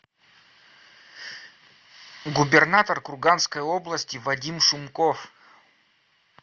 губернатор курганской области вадим шумков